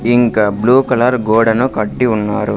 ఇంకా blue colour గోడను కట్టి ఉన్నారు.